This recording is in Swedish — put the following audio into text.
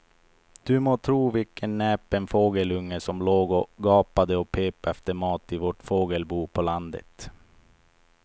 Du må tro vilken näpen fågelunge som låg och gapade och pep efter mat i vårt fågelbo på landet.